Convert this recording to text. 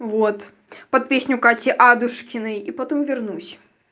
вот под песню кати адушкиной и потом вернусь